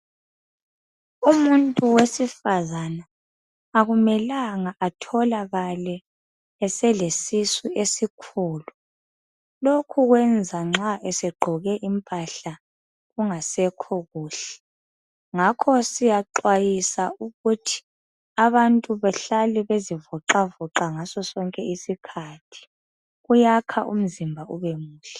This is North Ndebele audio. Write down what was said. umuntu wesifazana akumelanga atholakale esele sisu esikhulu lokhu kuyenza nxa esegqoke impaahla kungasekho kuhle ngakho siyaxayiswa ukuthi abantu bahlale bezivoxavoxa kuyakha umzimba ebemuhle.